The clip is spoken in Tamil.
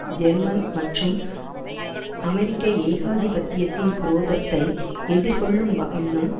ஜெர்மன் மற்றும் அமெரிக்க ஏகாதிபத்தியத்தின் குரோதத்தை எதிர்கொள்ளும் வகையிலும்